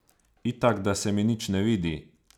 Itak da se mi nič ne vidi.